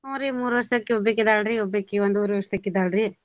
ಹ್ಮ್ ರೀ ಮೂರ್ವರ್ಷದಾಕಿ ಒಬ್ಬಾಕಿದಾಳ್ರಿ ಒಬ್ಬಾಕಿ ಒಂದೂವರೀ ವರ್ಷದಕಿದಾಳ್ ರೀ.